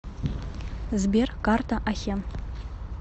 сбер карта ахен